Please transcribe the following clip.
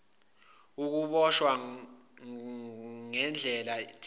ukuboshwa ngandlela thize